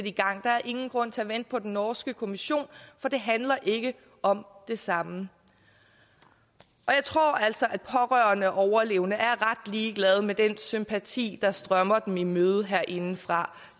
i gang der er ingen grund til at vente på den norske kommission for det handler ikke om det samme jeg tror altså at pårørende og overlevende er ret ligeglade med den sympati der strømmer dem i møde herindefra